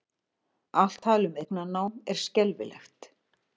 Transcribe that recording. Allt tal um eignarnám er skelfilegt